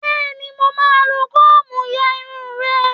Bẹ́ẹ̀ni, mo máa lo kóòmù ya irun rẹ